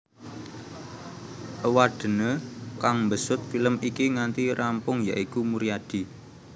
Éwadéné kang mbesut film iki nganti rampung ya iku Muryadi